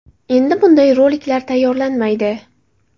Endi bunday roliklar tayyorlanmaydi”.